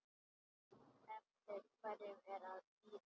Eftir hverju ertu að bíða?